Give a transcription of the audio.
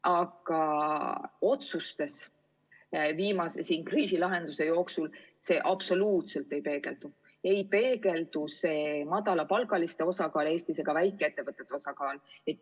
Aga otsustes viimase kriisi lahenduste kohta absoluutselt ei peegeldu see madalapalgaliste inimeste osakaal Eestis ega väikeettevõtete osakaal.